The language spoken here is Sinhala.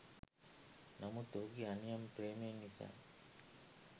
නමුත් ඔහුගේ අනියම් ප්‍රේමය නිසා